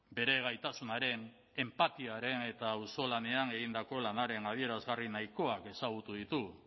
bere gaitasunaren enpatiaren eta auzolanean egindako lanaren adierazgarri nahikoak ezagutu ditugu